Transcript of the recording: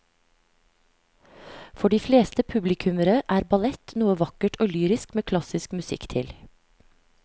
For de fleste publikummere er ballett noe vakkert og lyrisk med klassisk musikk til.